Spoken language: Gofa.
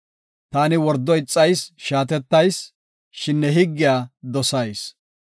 Taani wordo ixayis; shaatettayis; shin ne higgiya dosayis.